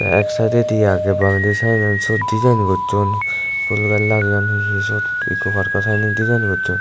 tey ek saededi agey bangedi saedot siot dijaen gosson pul lageon hi hi sot ikko parko sannen dijaen gosson.